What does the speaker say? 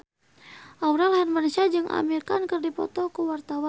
Aurel Hermansyah jeung Amir Khan keur dipoto ku wartawan